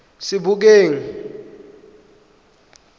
sebokeng